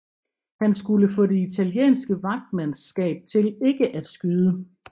Han skulle få det italienske vagtmandskab til ikke at skyde